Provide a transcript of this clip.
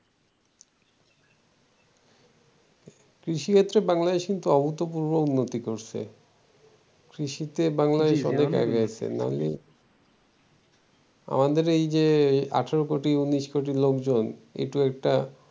কৃষি ক্ষেত্রে বাংলাদেশ কিন্তু অভূতপূর্ব উন্নতি করেছে কৃষিতে বাংলাদেশ অনেক আগাইছে নইলে আমাদের এই যে আঠার কোটি উনিশ কোটি লোকজন এটিও একটা